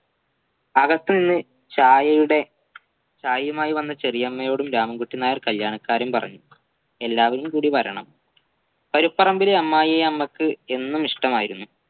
അകത്തുനിന്ന് ചായയുടെ ചായയുമായിവന്ന ചെറിയമ്മയോടും രാമൻകുട്ടി നായർ കല്യാണകാര്യം പറഞ്ഞു എല്ലാവരുംകൂടിവരണം കരുപ്പറമ്പിലെ അമ്മായിയമ്മക്ക് എന്നും ഇഷ്ട്ടമായിരുന്നു